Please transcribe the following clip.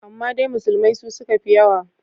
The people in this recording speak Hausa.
Amma dai musulmai su suka fiyewa.